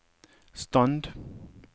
stand